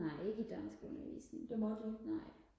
nej ikke i dansk undervisningen nej